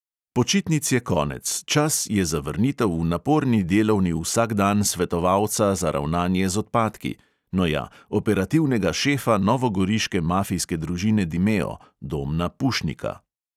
Počitnic je konec, čas je za vrnitev v naporni delovni vsakdan svetovalca za ravnanje z odpadki, no ja, operativnega šefa novogoriške mafijske družine dimeo, domna pušnika.